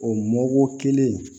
O mɔko kelen in